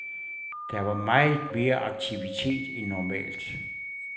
Der var meget mere aktivitet end normalt.